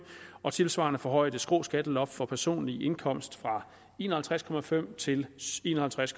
og tilsvarende forhøje det skrå skatteloft for personlig indkomst fra en og halvtreds procent til en og halvtreds